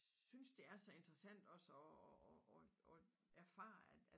Synes det er så interessant også at at at erfare at